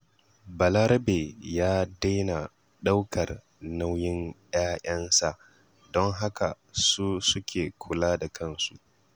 Balarabe ya daina ɗaukar nauyin 'ya'yansa, don haka su suke kula da kansu.